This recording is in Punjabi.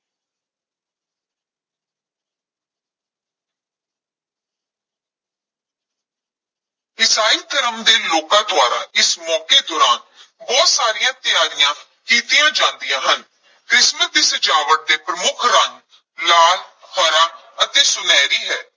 ਈਸਾਈ ਧਰਮ ਦੇ ਲੋਕਾਂ ਦੁਆਰਾ ਇਸ ਮੌਕੇ ਦੌਰਾਨ ਬਹੁਤ ਸਾਰੀਆਂ ਤਿਆਰੀਆਂ ਕੀਤੀਆਂ ਜਾਂਦੀਆਂ ਹਨ, ਕ੍ਰਿਸਮਸ ਦੀ ਸਜਾਵਟ ਦੇ ਪ੍ਰਮੁਖ ਰੰਗ ਲਾਲ, ਹਰਾ ਅਤੇ ਸੁਨਹਿਰੀ ਹੈ।